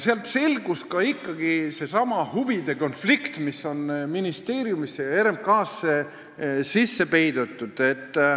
Saatest selgus seesama huvide konflikt, mis on ministeeriumisse ja RMK-sse peidetud.